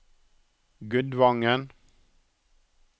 Gudvangen